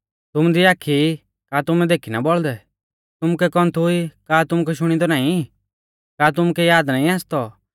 तुमु दी आखी ई का तुमै देखी ना बौल़दै तुमुकै कौन्थु ई का तुमुकै शुणिदौ नाईं का तुमुकै याद नाईं आसतौ